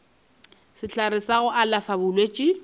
sehlare sa go alafa bolwetši